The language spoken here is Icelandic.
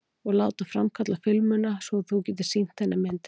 Og láta framkalla filmuna svo að þú getir sýnt henni myndirnar?